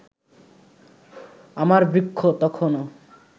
আমার বৃক্ষ তখনো